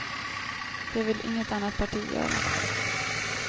Det vill inget annat parti göra.